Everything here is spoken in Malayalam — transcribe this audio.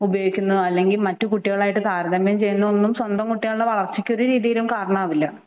ഉപയോഗിക്കുന്നതും അല്ലെങ്കിൽ മറ്റു കുട്ടികളുമായി താരതമ്യം ചെയ്യുന്നതും ഒന്നും സ്വന്തം കുട്ടികളുടെ വളർച്ചക്ക് ഒരു രീതിയിലും കരണമാകില്ല